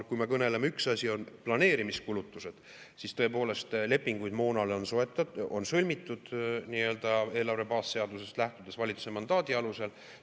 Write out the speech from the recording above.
Kui me kõneleme planeerimiskulutustest, siis tõepoolest, lepinguid moonale on sõlmitud nii-öelda eelarve baasseadusest lähtudes valitsuse mandaadi alusel.